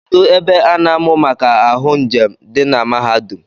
Kedu ebe a na-amụ maka ahụ njem di na mahadum?